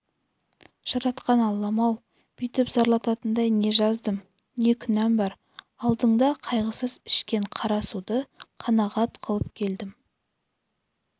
жаратқан аллам-ау бүйтіп зарлататындай не жаздым не күнәм бар алдыңда қайғысыз ішкен қара суды қанағат қылып келдім